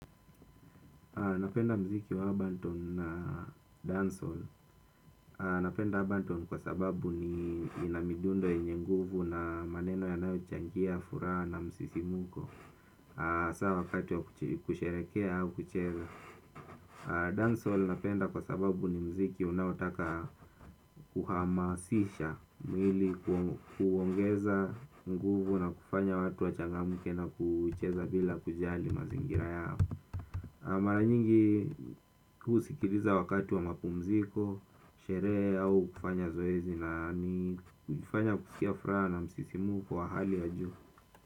Napenda mziki wa Abanton na Dancehall. Napenda Abanton kwa sababu ina midundo yenye nguvu na maneno yanaochangia, furaha na msisimuko asa wakati wa kusherehekea au kucheza Dancehall napenda kwa sababu ni mziki unaotaka kuhamasisha mwili kuongeza nguvu na kufanya watu wachangamuke na kucheza bila kujali mazingira yao na mara nyingi husikiriza wakati wa mapumziko, sherehe au kufanya zoezi na ni hufanya kusikia furaha na msisimuko wa hali ya juu.